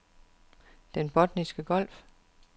Den Botniske Golf